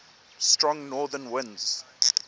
strong northern winds